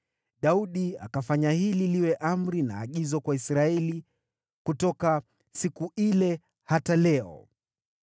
Daudi akafanya hili liwe amri na agizo kwa Israeli kutoka siku ile hata leo.